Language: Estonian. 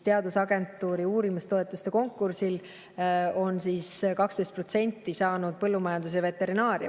Teadusagentuuri uurimistoetuste konkursil on 12% saanud põllumajandus ja veterinaaria.